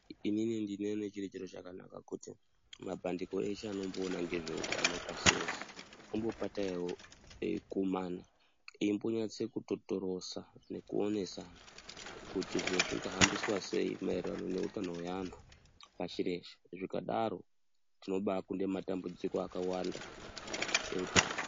Inini ndinoona chiri chiro chakanaka kuti mabandiko eshe anomboona ngezveutano pashi reshe apote eikumana veimbonyase kutotorosa nekuonesana kuti zviro zvingahambiswa sei maererano ngezveutano hweantu pashi reshe. Zvikadaro tinombaakunde matambudziko akawanda eutano.